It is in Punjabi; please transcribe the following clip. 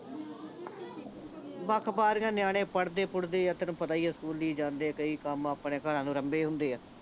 ਬਖ ਬਾਰੀਆਂ ਨਿਆਣੇ ਪੜ੍ਹਦੇ ਪੁੜਦੇ ਆ ਤੈਨੂੰ ਪਤਾ ਹੀ ਸਕੂਲੀ ਜਾਂਦੇ ਆ ਕਈ ਕੰਮ ਆਪਣੇ ਘਰਾਂ ਨੂੰ ਅਰੰਭੇ ਹੁੰਦੇ ਆ